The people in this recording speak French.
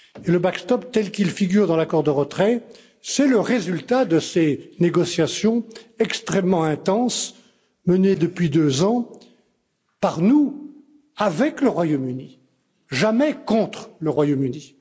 Le backstop tel qu'il figure dans l'accord de retrait, c'est le résultat des négociations extrêmement intenses menées depuis deux ans par nous avec le Royaume Uni, jamais contre le Royaume Uni.